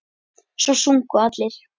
Svo sungu allir.